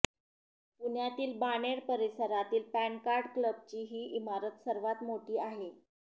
पुण्यातील बाणेर परिसरातील पॅनकार्ड क्लबची ही इमारत सर्वात मोठी आहे